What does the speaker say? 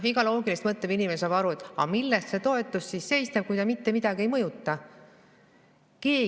Iga loogiliselt mõtlev inimene saab aru: aga milles see toetus siis seisneb, kui ta mitte midagi ei mõjuta?